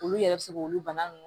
Olu yɛrɛ bɛ se k'olu bana nunnu